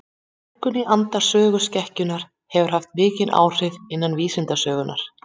Túlkun í anda söguskekkjunnar hefur haft mikil áhrif innan vísindasögunnar.